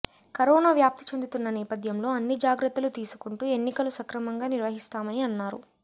corona వ్యాప్తి చెందుతున్న నేపథ్యంలో అన్ని జాగ్రత్తలు తీసుకుంటూ ఎన్నికలు సక్రమంగా నిర్వహిస్తామని అన్నారు